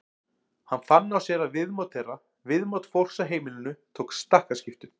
Hann fann á sér að viðmót þeirra, viðmót fólks á heimilinu tók stakkaskiptum.